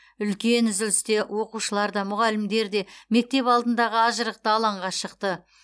үлкен үзілісте оқушылар да мұғалімдер де мектеп алдындағы ажырықты алаңға шықты